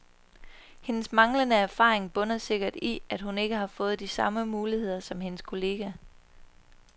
Hendes manglende erfaring bunder sikkert i, at hun ikke har fået de samme muligheder som hendes kollega.